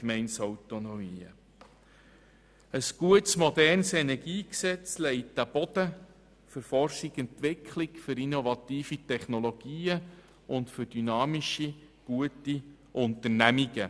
Ein gutes und modernes Energiegesetzt legt einen Boden für Forschung und Entwicklung, für innovative Technologien und für gute, dynamische Unternehmungen.